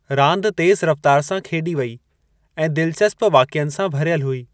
रांदि तेज़ रफ़्तार सां खेॾी वेई ऐं दिल्चस्प वाकियनि सां भरियलु हुई।